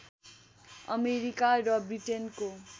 America र ब्रिटेनको